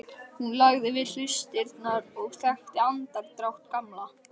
Hún lagði við hlustirnar og þekkti andardrátt Gamla.